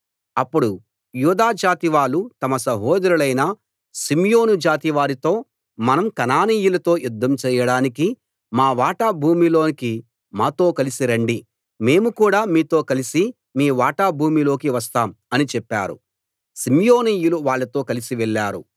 అప్పుడు యూదా జాతి వాళ్ళు తమ సహోదరులైన షిమ్యోను జాతివారితో మనం కనానీయులతో యుద్ధం చెయ్యడానికి మా వాటా భూమిలోకి మాతో కలిసి రండి మేము కూడా మీతో కలిసి మీ వాటా భూమిలోకి వస్తాం అని చెప్పారు షిమ్యోనీయులు వాళ్ళతో కలిసి వెళ్ళారు